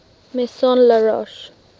maison la roche